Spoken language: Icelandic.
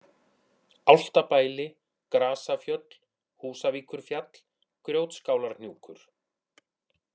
Álftabæli, Grasafjöll, Húsavíkurfjall, Grjótskálarhnjúkur